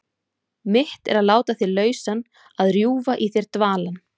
Mitt er að láta þig lausan, að rjúfa í þér dvalann.